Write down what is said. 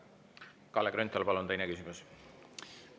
Kalle Grünthal, palun, teine küsimus!